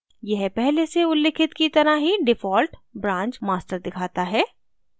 यह पहले उल्लिखित की तरह ही default branch master दिखाता है